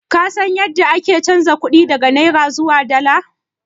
Ka san yadda ake chanza kuɗi daga naira zuwa dala?